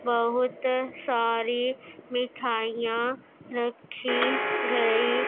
बहुत सारी मिठाइयां रखी गई --